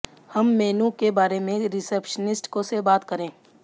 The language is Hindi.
हम मेनू के बारे में रिसेप्शनिस्ट से बात करें